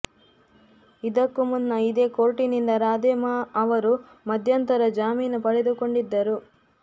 ಇದಕ್ಕೂ ಮುನ್ನ ಇದೇ ಕೋರ್ಟಿನಿಂದ ರಾಧೇ ಮಾ ಅವರು ಮಧ್ಯಂತರ ಜಾಮೀನು ಪಡೆದುಕೊಂದಿದ್ದರು